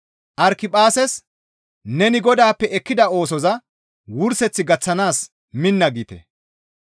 Arikiphaases, «Neni Godaappe ekkida oosoza wurseth gaththanaas minna» giite.